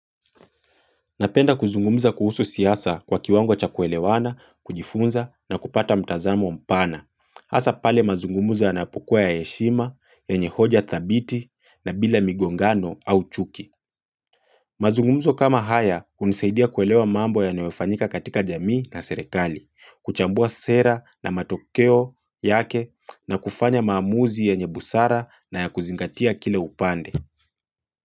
Napenda kuzungumuza kuhusu siasa kwa kiwango cha kuelewana, kujifunza na kupata mtazamo mpana. Asa pale mazungumuza yanapokua ya eshima, yenye hoja thabiti na bila migongano au chuki. Mazungumuza kama haya unisaidia kuelewa mambo yanayofanyika katika jamii na serekali, kuchambua sera na matokeo yake na kufanya maamuzi ya nyebusara na ya kuzingatia kile upande.